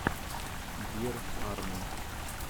бир арми